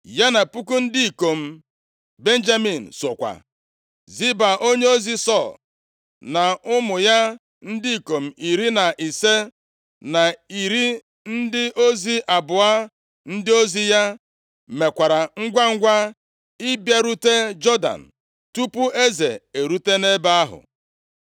Ya na puku ndị ikom Benjamin sokwa. Ziba, onyeozi Sọl, na ụmụ ya ndị ikom iri na ise, na iri ndị ozi abụọ ndị ozi ya, mekwara ngwangwa ịbịarute Jọdan tupu eze erute nʼebe ahụ.